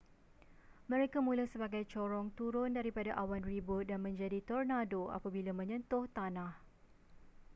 mereka mula sebagai corong turun daripada awan ribut dan menjadi tornado apabila menyentuh tanah